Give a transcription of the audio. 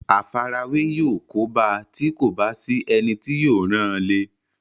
àfarawé yóò kóbá a tí kò bá sí ẹni tí yóò ràn án le